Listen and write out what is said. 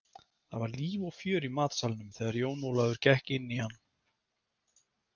Það var líf og fjör í matsalnum þegar Jón Ólafur gekk inn í hann.